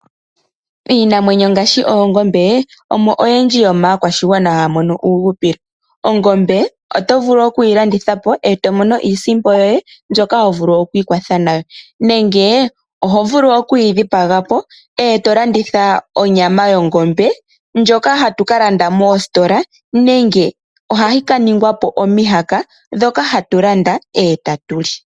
Iinamwenyo ngaashi oongombe omo oyendji yo maakwashigwana haya mono uuhupilo. Ongombe otovulu oku yilandithapo etomono iisimpo yoye mbyoka hovulu oku ikwatha nayo ,nenge ohovulu oku yidhipagapo etomono onyama yongombe ndjoka hatu ka landa moositola nenge ohayi ka ningwapo omihaka ndhoka hatu landa etatuli.